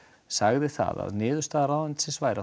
sagði það að niðurstaða ráðuneytisins væri